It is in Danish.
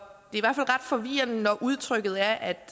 forvirrende når udtrykket er at